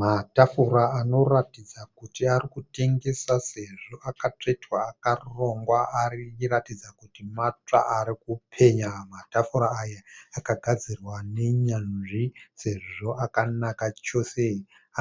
Matafura anoratidza kuti ari kutengeswa sezvo akatsvetwa akarongwa ari kuratidza kuti matsva ari kupenya matafura aya akagadzirwa nenyanzvi sezvo akanaka chose